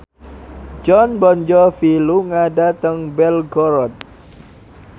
Jon Bon Jovi lunga dhateng Belgorod